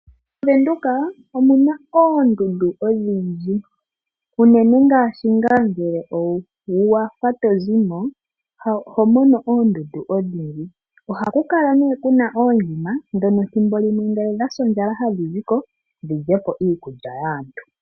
MoVenduka omu na oondundu odhindji. Unene ngaa ngele owa fa to zi mo, oho mono oondundu odhindji. Oha ku kala nee ku na oondjima ndhono ethimbo limwe ngele odha sa ondjala hadhi ziko dhi lye po iikulya yaantu.